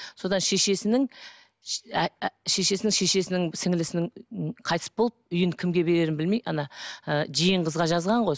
содан шешесінің шешесінің шешесінің сіңлілісінің қайтыс болып үйін кімге берерін білмей ана ы жиен қызға жазған ғой